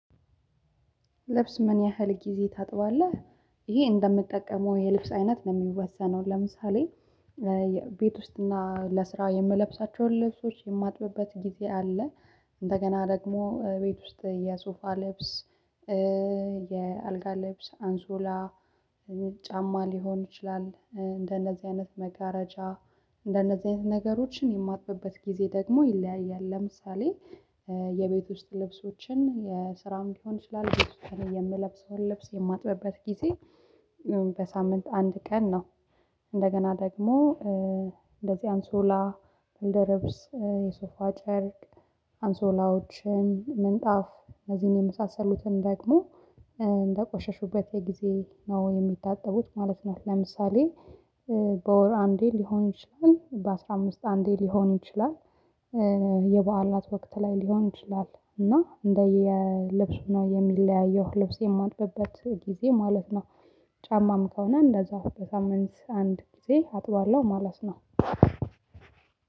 ልብስ ምን ያህል ጊዜ ታጥባለህ? ይህ እንደምጠቀመው የልብስ አይነት ነው እሚወሰነው ለምሳሌ ቤት ውስጥ እና ለስራ የምለብሳቸውን ልብሶች እማጥብበት ጊዜ አለ። እንደገና ደግሞ ቤት ውስጥ የሶፋ ልብስ የአልጋ ልብስ አንሶላ ጫማ ሊሆን ይችላል እንደነዚህ አይነት መጋረጃ እንደነዚህ አይነት ነገሮችን የማጥብበት ጊዜ ደግሞ ይለያያል። ለምሳሌ የቤት ውስጥ ልብሶችን የስራም ሊሆን ይችላል የምለብሰውን ልብስ እማጥብበት ጊዜ በሳምንት አንድ ቀን ነው። እንደገና ደግሞ እንደዚህ አንሶላ ብርድ ልብስ የሶፋ ጨርቅ አንሶላዎችን ምንጣፍ እነዚህን የመሳሰሉትን ደግሞ እንደቆሸሹበት የጊዜ ነው የሚታጠቡት ማለት ነው። ለምሳሌ በወር አንዴ ሊሆን ይችላል በአስራ አምስት አንዴ ሊሆን ይችላል የበዓላት ወቅት ላይ ሊሆን ይችላል እና እንደየልብሱ ነው የሚለያየው ልብስ የማጥበበት ጊዜ ማለት ነው። ጫማም ከሆነ እንደዛው በሳምንት አንድ ጊዜ አጥባለሁ ማለት ነው።